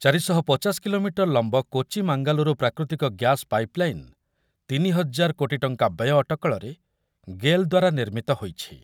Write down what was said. ଚାରି ଶହ ପଚାଶ କିମି ଲମ୍ବ କୋଚି ମାଙ୍ଗାଲୁରୁ ପ୍ରାକୃତିକ ଗ୍ୟାସ ପାଇପଲାଇନ ତିନି ହଜାର କୋଟି ଟଙ୍କା ବ୍ୟୟ ଅଟକଳରେ ଗେଲ୍ ଦ୍ୱାରା ନିର୍ମିତ ହୋଇଛି